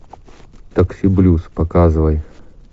такси блюз показывай